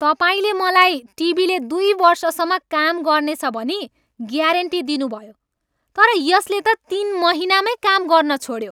तपाईँले मलाई टिभीले दुई वर्षसम्म काम गर्नेछ भनी ग्यारेन्टी दिनुभयो तर यसले त तिन महिनामै काम गर्न छोड्यो!